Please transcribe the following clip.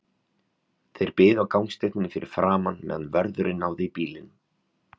Þeir biðu á gangstéttinni fyrir framan, meðan vörðurinn náði í bílinn.